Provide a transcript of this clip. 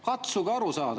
Katsuge aru saada.